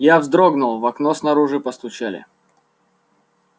я вздрогнул в окно снаружи постучали